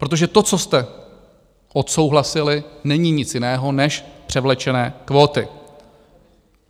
Protože to, co jste odsouhlasili, není nic jiného než převlečené kvóty.